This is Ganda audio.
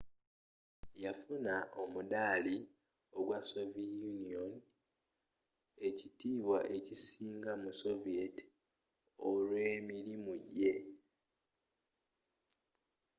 yafuna omuddaali ggwa omuzira wa sovie union” ekitiibwa ekisinga mu soviet olw’emirimu jje